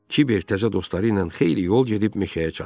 Kiber təzə dostları ilə xeyli yol gedib meşəyə çatdı.